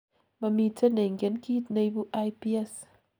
momiten neingen kiit neibu IBS